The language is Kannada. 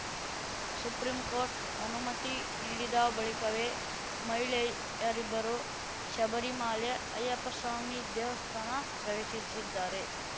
ಸುಪ್ರಿಂಕೋರ್ಟ್‌ ಅನುಮತಿ ನೀಡಿದ ಬಳಿಕವೇ ಮಹಿಳೆಯರಿಬ್ಬರು ಶಬರಿಮಲೆ ಅಯ್ಯಪ್ಪಸ್ವಾಮಿ ದೇವಸ್ಥಾನ ಪ್ರವೇಶಿಸಿದ್ದಾರೆ